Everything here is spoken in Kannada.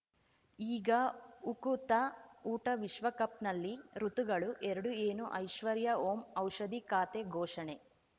ಈಗ ಉಕುತ ಊಟ ವಿಶ್ವಕಪ್‌ನಲ್ಲಿ ಋತುಗಳು ಎರಡು ಏನು ಐಶ್ವರ್ಯಾ ಓಂ ಔಷಧಿ ಖಾತೆ ಘೋಷಣೆ